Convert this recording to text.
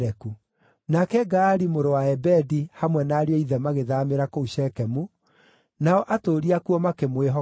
Nake Gaali mũrũ wa Ebedi hamwe na ariũ a ithe magĩthaamĩra kũu Shekemu, nao atũũri akuo makĩmwĩhoka.